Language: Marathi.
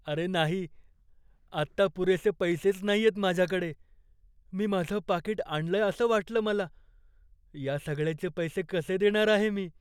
अरे नाही! आत्ता पुरेसे पैसेच नाहीयेत माझ्याकडे, मी माझं पाकीट आणलंय असं वाटलं मला. या सगळ्याचे पैसे कसे देणार आहे मी?